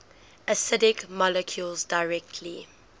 acidic molecules directly